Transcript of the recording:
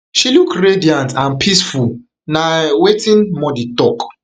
she look radiant and peacefulna um wetin modi tok